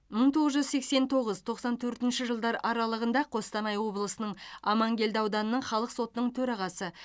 мың тоғыз жүз сексен тоғыз тоқсан төртінші жылдар аралығында қостанай облысының амангелді ауданының халық сотының төрағасы